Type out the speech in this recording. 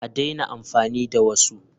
A daina amfani da wasu!